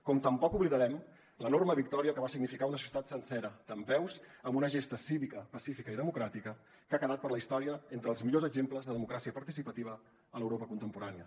com tampoc oblidarem l’enorme victòria que va significar una societat sencera dempeus amb una gesta cívica pacífica i democràtica que ha quedat per a la història entre els millors exemples de democràcia participativa a l’europa contemporània